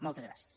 moltes gràcies